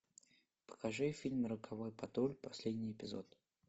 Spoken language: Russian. покажи фильм роковой патруль последний эпизод